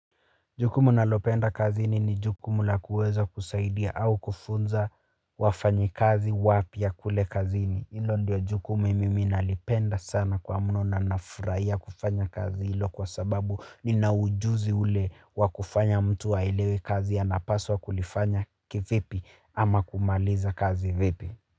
Jukumu nalopenda kazini ni jukumu lakuweza kusaidia hau kufunza wafanyikazi wapya kule kazini hilo ndo jukumu mimi nalipenda sana kwa mno nana furaya kufanya kazi ilo kwa sababu nina ujuzi ule wakufanya mtu aelewe kazi ya apaswa wa kuli fanya kivipi ama kumaliza kazi vipi.